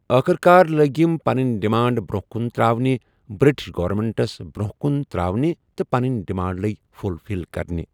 آخر کار لٔگۍ یِم پَنٕنۍ ڈِمانڈٕز برونٛہہ کُن ترٛاونہِ بِرٛٹِش گورمینٛٹَس برونٛہہ کُن ترٛاونہِ تہٕ پَنٕنی ڈِمانٛڈ لٔگۍ فُل فِل کَرنہِ۔